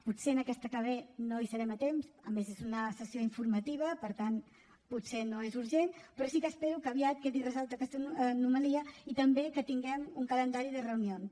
potser en aquesta que ve no hi serem a temps a més és una sessió informativa per tant potser no és urgent però sí que espero que aviat quedi resolta aquesta anomalia i també que tinguem un calendari de reunions